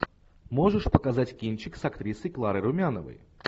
можешь показать кинчик с актрисой кларой румяновой